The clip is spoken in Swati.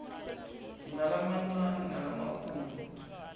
sinalamancane nalamakhulu